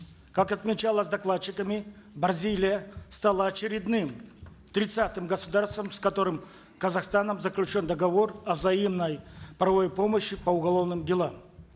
как отмечалось докладчиками бразилия стала очередным тридцатым государством с которым казахстаном заключен договор о взаимной правовой помощи по уголовным делам